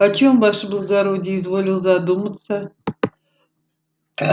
о чем ваше благородие изволил задуматься